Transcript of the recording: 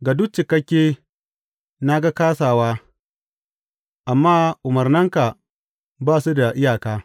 Ga duk cikakke na ga kāsawa; amma umarnanka ba su da iyaka.